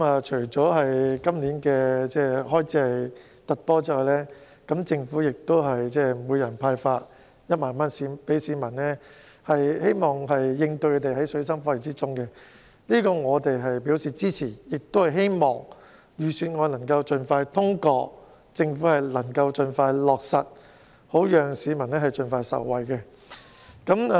除了今年的開支特別多外，政府亦向每位市民派發1萬元，希望應對他們在水深火熱中的需要，我們對此表示支持，亦希望預算案能盡快通過，政府盡快予以落實，讓市民盡快受惠。